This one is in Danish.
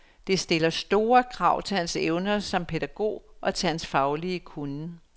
Det stiller store krav til hans evner som pædagog og til hans faglige kunnen.